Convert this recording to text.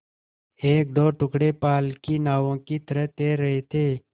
एकदो टुकड़े पाल की नावों की तरह तैर रहे थे